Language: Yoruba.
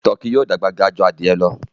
Tọki yóò dàgbà gà jù adìye lọ.